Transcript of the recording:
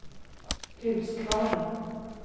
Huskvarna